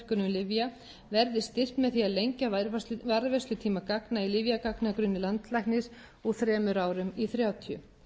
lyfja verði styrkt með því að lengja varðveislutíma gagna í lyfjagagnagrunni landlæknis úr þremur árum í þrjátíu